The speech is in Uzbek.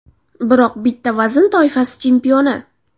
Biroq bitta vazn toifasi chempioni.